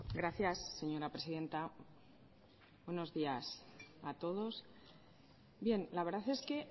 gracias señora presidenta buenos días a todos bien la verdad es que